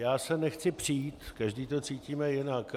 Já se nechci přít, každý to cítíme jinak.